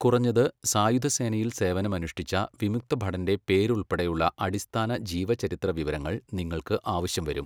കുറഞ്ഞത്, സായുധ സേനയിൽ സേവനമനുഷ്ഠിച്ച വിമുക്തഭടന്റെ പേര് ഉൾപ്പെടെയുള്ള അടിസ്ഥാന ജീവചരിത്ര വിവരങ്ങൾ നിങ്ങൾക്ക് ആവശ്യം വരും.